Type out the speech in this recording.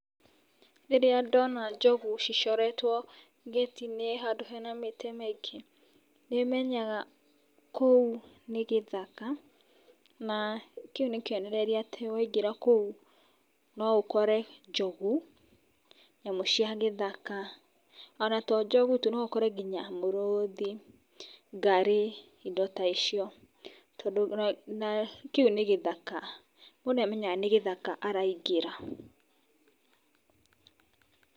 Rĩrĩa ndona njogu cicoretwo ngĩti-inĩ handũ hena mĩtĩ mĩingĩ nĩ menyaga kũu nĩ gĩthaka na kĩu nĩ kĩonereria atĩ waingĩra kũu, no ũkore njogu, nyamũ cia gĩthaka,o na to njogu tu, no ũkore nginya mũrũthi, ngarĩ, indo ta icio tondũ kĩu nĩ gĩthaka. Mũndũ nĩ amenyaga nĩ gĩthaka araingĩra.